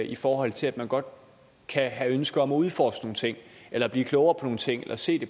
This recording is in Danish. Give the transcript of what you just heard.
i forhold til at man godt kan have ønsker om at udforske nogle ting eller blive klogere på nogle ting eller se